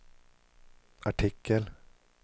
artikel